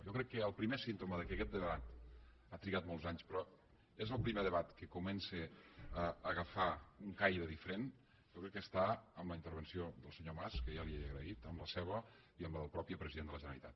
jo crec que el primer símptoma que aquest debat ha trigat molts anys però és el primer debat que comença a agafar un caire diferent jo crec que està en la intervenció del senyor mas que ja li he agraït en la seva i en la del mateix president de la generalitat